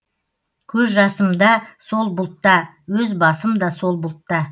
көз жасымда сол бұлтта өз басым да сол бұлтта